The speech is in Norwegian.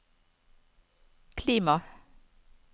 klima